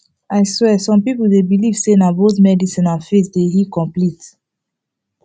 i swear some people dey believe say na both medicine and faith dey heal complete